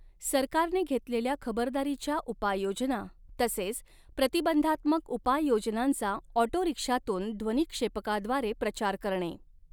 सरकारने घेतलेल्या खबरदारीच्या उपाययोजना तसेच प्रतिबंधात्मक उपाय योजनांचा ऑटोरिक्षातून ध्वनिक्षेपकाद्वारे प्रचार करणे.